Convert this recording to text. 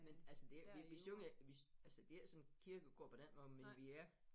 Men altså det ikke vi vi synger vi altså det ikke sådan kirkekor på den måde men vi er